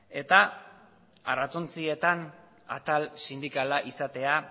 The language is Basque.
eta arrantzontzietan atal sindikala izatea